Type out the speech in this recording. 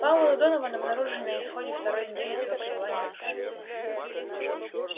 пауэлл и донован обнаружили на исходе второй недели своего пребывания на станции